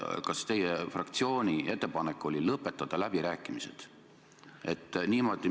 Kas teie fraktsiooni ettepanek on lõpetada läbirääkimised?